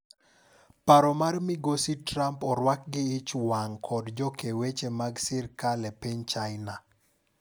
Paro mar migosi Trump orwaki gi ichwang' kod jo kee weche mag sirkal e piny China.